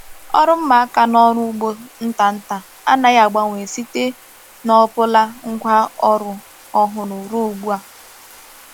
Ọrụ mma aka n’ọrụ ugbo nta nta anaghị agbanwe site n’ọ bụla ngwa ọrụ ọhụrụ ruo ugbu a.